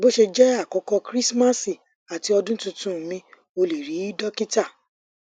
bo se je àkókò krismasi àti odun tuntunmi o le ri dokita